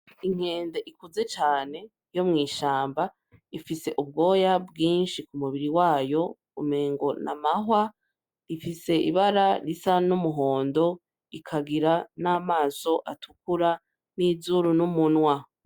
Inkende ikuze cane yo mw'ishamba ifise ubwoya bwinshi ku mubiri wayo umengo n'amahwa ifise ibara risa n'umuhondo ikagira n'amaso atukura n'izuru n'umunwa. .